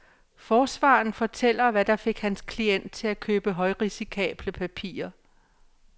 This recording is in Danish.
Forsvareren fortæller hvad der fik hans klient til at købe højrisikable papirer.